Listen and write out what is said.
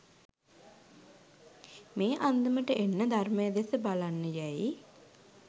මේ අන්දමට එන්න ධර්මය දෙස බලන්න යැයි